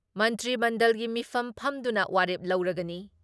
ꯃꯟꯇ꯭ꯔꯤ ꯃꯟꯗꯜꯒꯤ ꯃꯤꯐꯝ ꯐꯝꯗꯨꯅ ꯋꯥꯔꯦꯞ ꯂꯧꯔꯒꯅꯤ ꯫